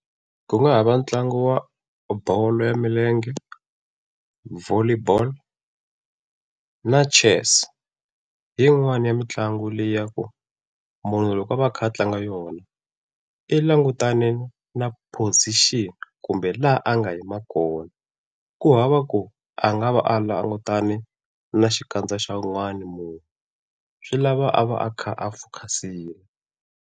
Ku nga ha va ntlangu wa bolo ya milenge, Volley bolo, na Chess hi yin'wani ya mitlangu leyi ya ku munhu loko o va a kha a tlanga yona i langutaneke na position kumbe laha a nga yima kona. Kuhava ku a nga va a langutane na xikandza xa wun'wani munhu swi lava a va a kha a fokhasile.